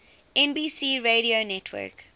nbc radio network